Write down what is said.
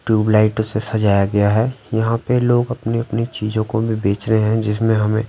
tubelight ओ से सजाया गया हैं यहाँ पे लोग अपनी-अपनी चीजों को भी बेच रहे हैं जिसमें हमें--